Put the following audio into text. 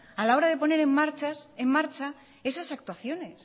a la hora de poner en marcha esas actuaciones